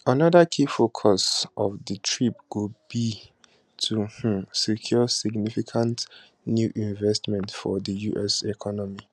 anoda key focus of di trip go be to um secure significant new investment for di us economy